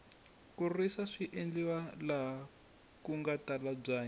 ku risa swi endleriwa laha kunga tala byanyi